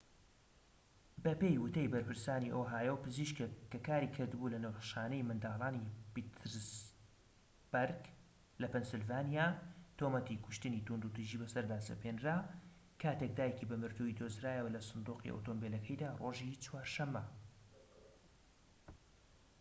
بەپێی وتەی بەرپرسانی ئۆهایۆ پزیشكێک کە کاریکردبوو لە نەخۆشخانەی منداڵانی پیتسبەرگ لە پەنسیلڤانیا تۆمەتی کوشتنی توندوتیژی بەسەردا سەپێنرا کاتێك دایکی بە مردویی دۆزرایەوە لە سندوقی ئۆتۆمبیلەکەیدا ڕۆژی چوارشەمە